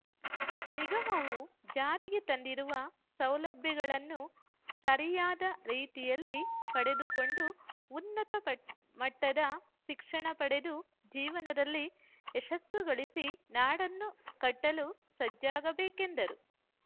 ನಿಗಮವು ಜಾರಿಗೆ ತಂದಿರುವ ಸೌಲಭ್ಯಗಳನ್ನು ಸರಿಯಾದ ರೀತಿಯಲ್ಲಿ ಪಡೆದುಕೊಂಡು ಉನ್ನತ ಮಟ್ಟದ ಶಿಕ್ಷಣ ಪಡೆದು ಜೀವನದಲ್ಲಿ ಯಶಸ್ಸುಗಳಿಸಿ ನಾಡನ್ನು ಕಟ್ಟಲು ಸಜ್ಜಾಗಬೇಕೆಂದರು